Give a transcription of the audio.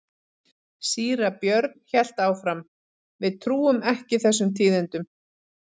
Síra Björn hélt áfram:-Við trúum ekki þessum tíðindum.